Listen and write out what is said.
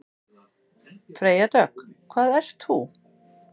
Freyja Dögg: Hvað ert þú?